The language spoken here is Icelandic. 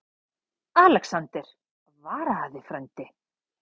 ALEXANDER: Varaðu þig, frændi.